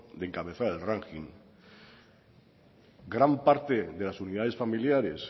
de encabezar el ranking gran parte de las unidades familiares